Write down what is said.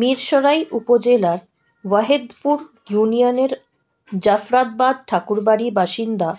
মিরসরাই উপজেলার ওয়াহেদপুর ইউনিয়নের জাফরাবাদ ঠাকুরবাড়ির বাসিন্দা